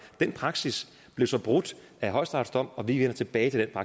den praksis blev så brudt af højesterets dom og vi vender tilbage til